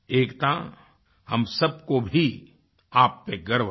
एकता हम सब को भी आप पर गर्व है